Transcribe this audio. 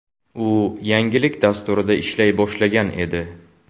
U yangilik dasturida ishlay boshlagan edi.